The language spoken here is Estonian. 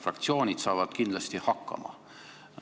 Fraktsioonid saavad kindlasti hakkama.